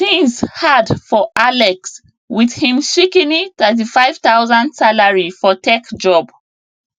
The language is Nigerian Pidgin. things hard for alex with him shikini 35000 salary for tech job